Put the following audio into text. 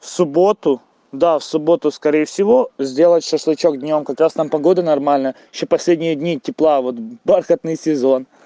в субботу да в субботу скорее всего сделать шашлычок днём как раз там погода нормально ещё последние дни тепла вот бархатный сезон